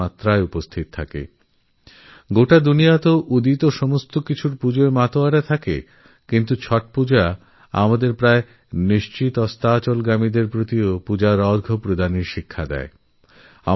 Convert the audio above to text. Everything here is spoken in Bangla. সমস্ত জগৎ উদীয়মান সূর্যের পূজাকরে থাকে কিন্তু ছট পূজা অস্তগামী সূর্যকে আরাধনা করার সংস্কারও দেয় আমাদের